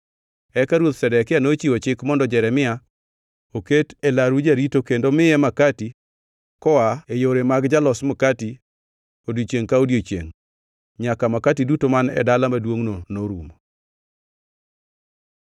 Eka Ruoth Zedekia nochiwo chik mondo Jeremia oket e laru jarito kendo miye makati koa e yore mag jolos makati odiechiengʼ ka odiechiengʼ, nyaka makati duto man e dala maduongʼno norumo.